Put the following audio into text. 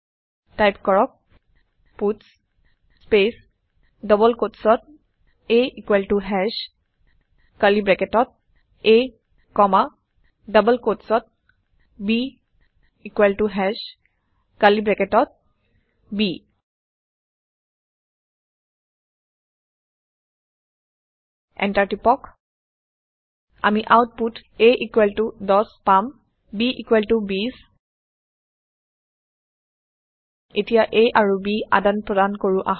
type কৰক পাটছ space double কোট্চত a ইকোৱেল ত হাশ কাৰ্লী ব্ৰেকেটত a কমা ডবল কোট্চত b ইকোৱেল ত হাশ কাৰ্লী ব্ৰেকেটত b এণ্টাৰ টিপক আমি আওতপুত a১০ পাম b২০ এতিয়া a আৰু b আদান প্ৰদান কৰো আহক